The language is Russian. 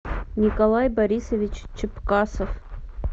николай борисович чепкасов